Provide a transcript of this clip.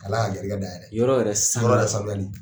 Ala y'a garisɛgɛ dayɛlɛ, yɔrɔ yɛrɛ saniyali, yɔrɔ yɛrɛ saniyali.